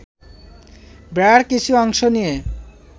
বেড়ার কিছু অংশ নিয়ে